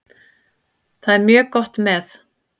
Það er mjög gott með.